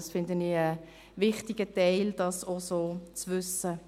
Ich finde es einen wichtigen Teil, dies auch so zu wissen.